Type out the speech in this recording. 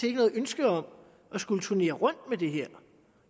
ikke noget ønske om at skulle turnere rundt med det her